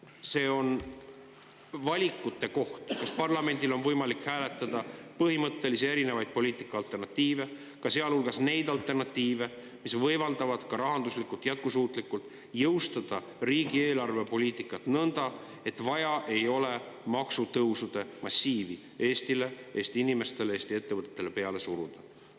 See on valikute koht, kas parlamendil on võimalik hääletada põhimõtteliste, erinevate poliitika alternatiivide üle, sealhulgas nende alternatiivide üle, mis võimaldavad rahanduslikult jätkusuutlikult jõustuda riigi eelarvepoliitikat nõnda, et ei ole vaja maksutõusude massiivi Eestile, Eesti inimestele ja ettevõtetele peale suruda.